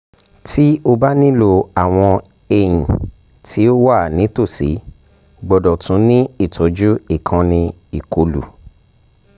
ti o ba nilo awọn eyin ti o wa nitosi gbọdọ tun ni itọju ikanni ikolu